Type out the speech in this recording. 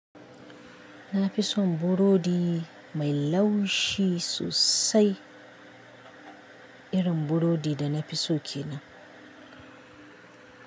Nafi son burodi mai laushi sosai irin burodi da nafi so kenan.